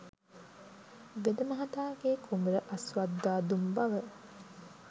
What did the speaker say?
වෙදමහතාගේ කුඹුර අස්වද්දා දුන් බව